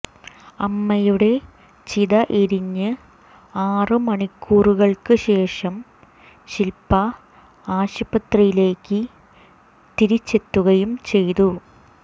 അമ്മയുടെ ചിത എരിഞ്ഞ് ആറ് മണിക്കൂറുകള്ക്ക് ശേഷം ശില്പ ആശുപത്രിയിലേക്ക് തിരിച്ചെത്തുകയും ചെയ്തു